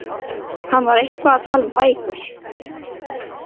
Hann var eitthvað að tala um bækur.